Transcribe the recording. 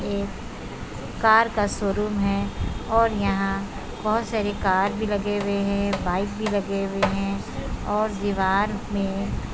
car का showroom है और यहां बहुत सारी कार कार भी लगे हुए हैं बाइक भी लगे हुए है और दीवार में एक --